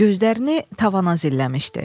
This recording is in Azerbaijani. Gözlərini tavana zilləmişdi.